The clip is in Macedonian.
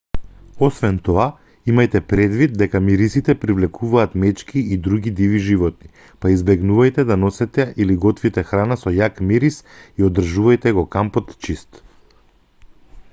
освен тоа имајте предвид дека мирисите привлекуваат мечки и други диви животни па избегнувајте да носите или готвите храна со јак мирис и одржувајте го кампот чист